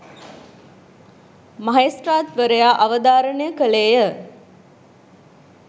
මහේස්ත්‍රාත්වරයා අවධාරණය කළේ ය.